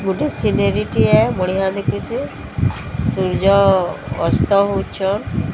ଗୋଟେ ସିନେରି ଆ ବଢିଆ ଦିସୁଚି ସୂର୍ଯ୍ୟ ଅସ୍ତ ହୋଉଚନ୍।